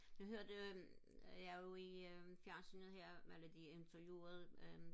jeg hørte jeg jo i øh fjernsyet her hvor de interviewede øh